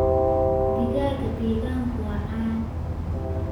Digaagga deegaanka waa caan.